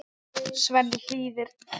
Svenni hlýðir.